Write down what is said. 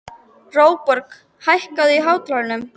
Róbjörg, hækkaðu í hátalaranum.